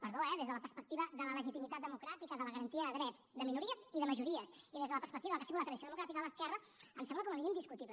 perdó eh des de la perspectiva de la legitimitat democràtica de la garantia de drets de minories i de majories i des de la perspectiva del que ha sigut la tradició democràtica de l’esquerra em sembla com a mínim discutible